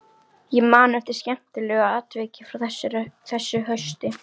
Ég man eftir skemmtilegu atviki frá þessu hausti.